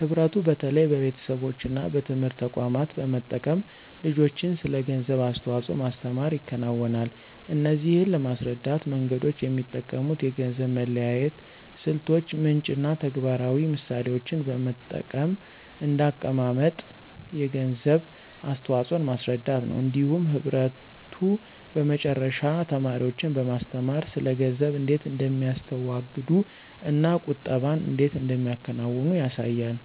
ህብረቱ በተለይ በቤተሰቦች እና በትምህርት ተቋማት በመጠቀም ልጆችን ስለ ገንዘብ አስተዋጽኦ ማስተምር ይከናወናል። እነዚህን ለማስረዳት መንገዶች የሚጠቀሙት የገንዘብ መለያየት ስልቶች፣ ምንጭ እና ተግባራዊ ምሳሌዎችን በመጠቀም እንደ አቀማመጥ የገንዘብ አስተዋፅኦን ማስረዳት ነው። እንዲሁም ህብረቱ በመጨረሻ ተማሪዎችን በማስተማር ስለ ገንዘብ እንዴት እንደሚያስተዋግዱ እና ቁጠባን እንዴት እንደሚያከናውኑ ያሳያል።